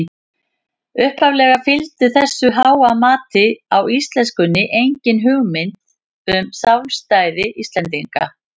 Upphaflega fylgdi þessu háa mati á íslenskunni engin hugmynd um sjálfstæði Íslendinga.